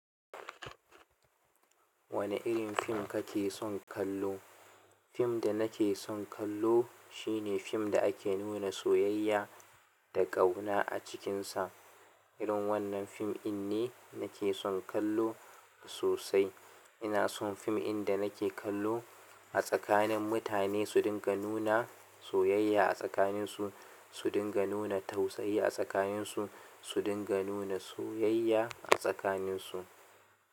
Wane irin fim ka ke son kallo? Film da nake son kallo, shine film da ake nuna so da ƙauna acikin sa. Irin wannan fim ɗin ne, na ke son kallo sosai. Ina son fim inda na ke kallo a tsakanin mutane su dinga nuna soyayya a tsakaninsu, su dinga nuna tausayi a tsakaninsu, su dinga nuna soyayya a tsakaninsu.